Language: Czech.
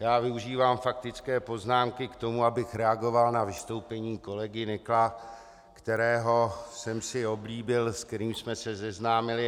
Já využívám faktické poznámky k tomu, abych reagoval na vystoupení kolegy Nykla, kterého jsem si oblíbil, se kterým jsme se seznámili.